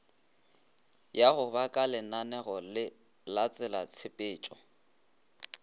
ya go ba kalenaneo latselatshepetšo